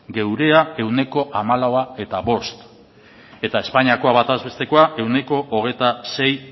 gurea ehuneko hamalau koma bost eta espainiako batez bestekoa ehuneko hogeita sei